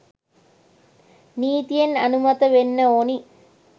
නීතියෙන් අනුමත වෙන්න ඕනි.